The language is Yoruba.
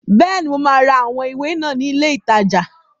Bẹ́ẹ̀ni, mo máa ra àwọn ìwé náà ní ilé ìtajà.